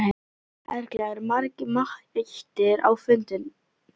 Erla, eru margir mættir á fundinn?